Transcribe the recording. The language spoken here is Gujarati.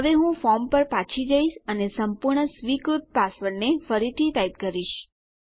હવે હું ફોર્મ પર પાછી જઈશ અને સંપૂર્ણ સ્વીકૃત પાસવર્ડને ફરીથી ટાઈપ કરીશ